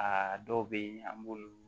Aa dɔw bɛ yen an b'olu